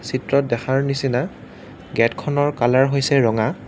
চিত্ৰত দেখাৰ নিচিনা গেটখনৰ কালাৰ হৈছে ৰঙা।